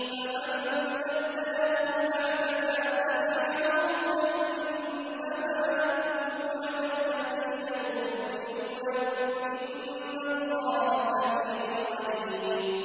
فَمَن بَدَّلَهُ بَعْدَمَا سَمِعَهُ فَإِنَّمَا إِثْمُهُ عَلَى الَّذِينَ يُبَدِّلُونَهُ ۚ إِنَّ اللَّهَ سَمِيعٌ عَلِيمٌ